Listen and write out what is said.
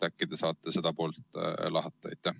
Äkki te saate seda poolt lahata?